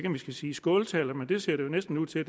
om vi skal sige skåltaler men det ser det jo næsten ud til at